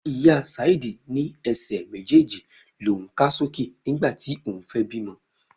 Ìyá Túndé ní Ẹsẹ̀ méjèèjì l'oun ká sókè nígbà tí òun fẹ́ bímọ.